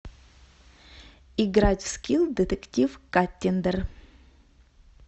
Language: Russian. играть в скил детектив каттиндер